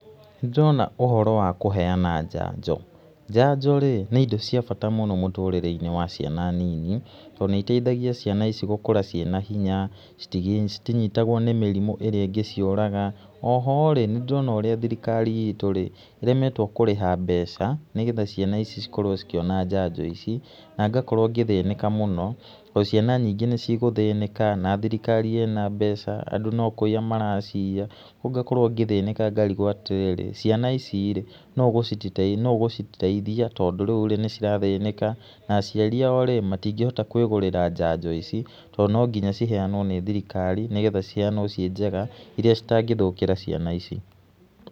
Nĩndĩrona ũhoro wa kũheana njanjo. Njanjo-rĩ nĩ indo cia bata mũno mũtũrĩre-inĩ wa ciana nini to nĩiteithagia ciana ici gũkũra cĩena hinya, citinyitagwo nĩ mĩrimũ ĩrĩa ĩngĩciũraga, oho-rĩ nĩndĩrona ũrĩa thirikari ĩtũ-rĩ ĩremetwo kũrĩha mbeca nĩgetha ciana ici cikorwo cikĩona njanjo ici na ngakorwo ngĩthĩnĩka mũno to ciana nyingĩ nĩcigũthĩnĩka na thirikari ĩna mbeca andũ no kũiya maraciiya rĩu ngakorwo ngĩthĩnĩka ngarigwo atĩ rĩrĩ ciana ici-rĩ nũũ ũgũciteithia tondũ rĩu-rĩ nĩcirathĩnĩka na aciari ao rĩ matingĩhota kwĩgũrĩra njanjo ici to nonginya ciheanwo nĩ thirikari nĩgetha ciheanwo cĩe njega iria citangĩthũkĩra ciana ici.